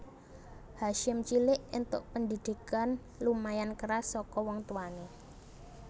Hasyim cilik entuk pendhidhikan lumayan keras saka wong tuwane